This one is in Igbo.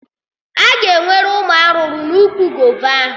Aga enwere ụmụ arụrụ n'úkwù gova ahụ